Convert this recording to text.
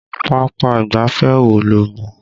Pápá ìgbáfẹ́ wo lo mọ̀?